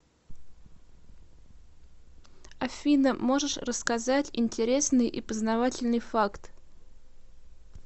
афина можешь рассказать интересный и познавательный факт